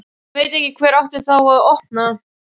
Ég veit ekki hver átti þá að opna.